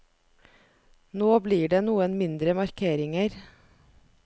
Nå blir det noen mindre markeringer.